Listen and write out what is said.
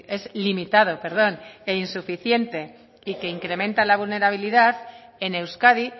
es limitado e insuficiente y que incrementan la vulnerabilidad en euskadi